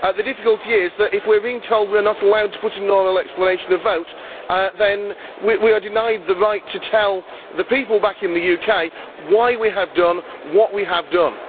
The difficulty is that, if we are being told we are not allowed to put in an oral explanation of vote, then we are denied the right to tell the people back in the UK why we have done what we have done.